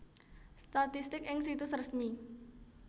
Statistik ing Situs Resmi